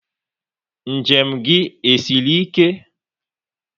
Njem gị e siri ike?